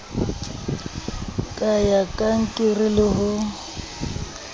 ka ya kankere le ho